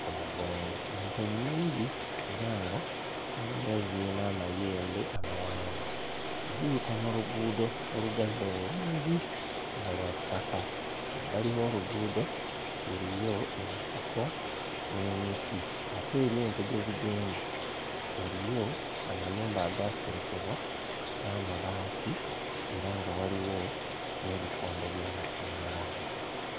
ku mugongo. Ente nnyingi era nga mulimu eziyina amayembe amawanvu. Ziyita mu luguudo olugazi obulungi nga lwa ttaka. Ebbali w'oluguudo eriyo ensiko n'emiti ate eri ente gye zigenda eriyo amayumba agaaserekebwa n'amabaati era nga waliwo n'ebikondo by'amasannyalaze.